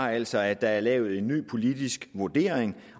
er altså at der er lavet en ny politisk vurdering